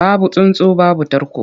Babu tsuntsu babu tarko.